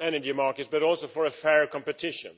energy market but also for fair competition.